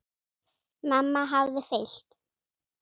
Mamma hafði fylgt